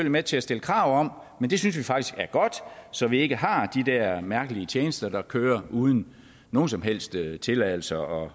med til at stille krav om men det synes vi faktisk er godt så vi ikke har de her mærkelige tjenester der kører uden nogen som helst tilladelse og